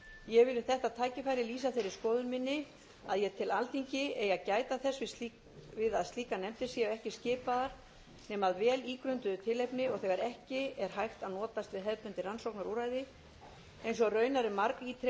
ég vil við þetta tækifæri lýsa þeirri skoðun minni að ég tel að alþingi eigi að gæta þess að slíkar nefndir séu ekki skipaðar nema að vel ígrunduðu tilefni og þegar ekki er hægt að notast við hefðbundin rannsóknarúrræði eins og raunar er margítrekað